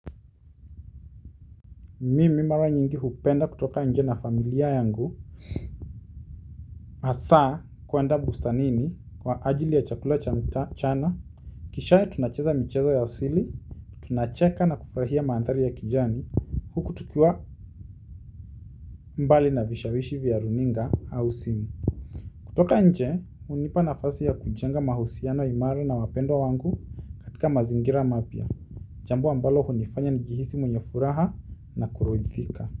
Mimi mara nyingi hupenda kutoka nje na familia yangu hasaa kuenda bustanini kwa ajili ya chakula cha mchana kisha tunacheza michezo ya asili, tunacheka na kufurahia mandhari ya kijani huku tukiwa mbali na vishawishi vya runinga au simu kutoka nje, hunipa nafasi ya kujenga mahusiano imara na wapendwa wangu katika mazingira mapya. Jambo ambalo hunifanya nijihisi mwenye furaha na kuridhika.